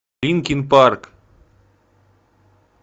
линкин парк